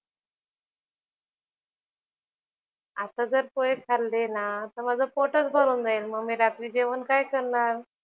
आता जर पोहे खाल्ले ना तर माझं पोटच भरून जाईल, मग मी रात्री जेवण काय करणार?